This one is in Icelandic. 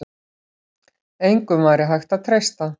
Engum væri hægt að treysta.